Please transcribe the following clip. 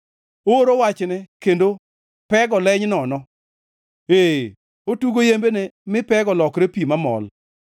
Ooro wachne kendo pego leny nono; ee, otugo yembene mi pego lokre pi mamol.